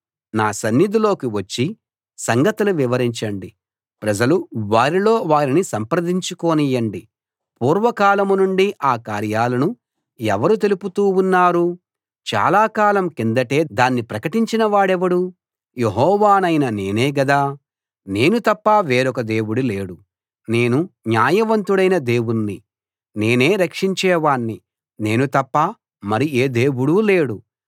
నా సన్నిధిలోకి వచ్చి సంగతులు వివరించండి ప్రజలు వారిలో వారిని సంప్రదించుకొనియండి పూర్వకాలం నుండీ ఆ కార్యాలను ఎవరు తెలుపుతూ ఉన్నారు చాలకాలం కిందటే దాన్ని ప్రకటించిన వాడెవడు యెహోవానైన నేనే గదా నేను తప్ప వేరొక దేవుడు లేడు నేను న్యాయవంతుడైన దేవుణ్ణి నేనే రక్షించేవాణ్ణి నేను తప్ప మరి ఏ దేవుడూ లేడు